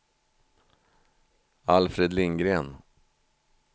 Alfred Lindgren